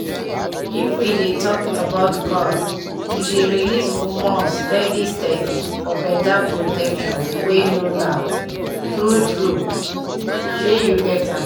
if we dey talk about coil e dey release hormones steady steady for better protection wey no loud-- true true pause small shey u get am